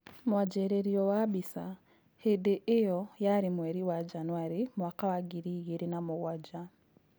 Mwanjĩrĩrio wa Mbica. Hĩndĩ ĩo yarĩ mweri wa njanũari mwaka wa ngiri igĩrĩ na mũgwanja.